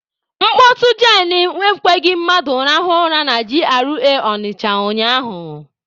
Mkpọtụ jen ekweghị mmadụ rahụọ ụra na G.R.A Ọnịcha ụnyaahụ.